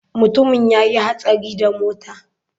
Mutumin ya yi hatsari da mota.